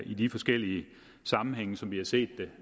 i de forskellige sammenhænge som vi har set det